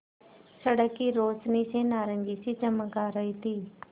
सड़क की रोशनी से नारंगी सी चमक आ रही थी